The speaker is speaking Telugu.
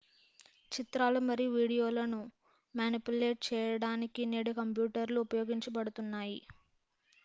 చిత్రాలు మరియు వీడియోలను మానిప్యులేట్ చేయడానికి నేడు కంప్యూటర్ లు ఉపయోగించబడుతున్నాయి